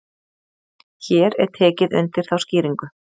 hér er tekið undir þá skýringu